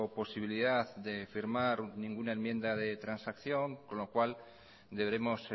posibilidad de firmar ninguna enmienda de transacción con lo cual deberemos